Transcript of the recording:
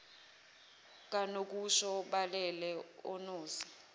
kanokusho balele onozi